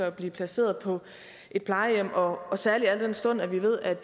at blive placeret på et plejehjem og og særlig al den stund at vi ved at